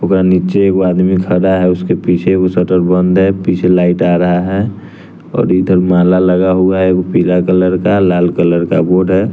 पूरा नीच्चे एगो आदमी खरा है उसके पीछे एगो शटर बंद है पीछे लाइट आ रहा है और इधर माला लगा हुआ है एगो पीला कलर का लाल कलर का बोड है।